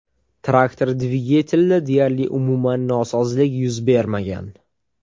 Traktor dvigatelida deyarli umuman nosozlik yuz bermagan.